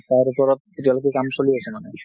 তাৰ ওপৰত এতিয়া লৈকে কাম চলি আছে মানে।